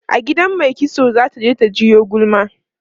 a gidan maikitso zata je ta jiwo gulma